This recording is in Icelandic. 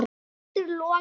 Eldur logar.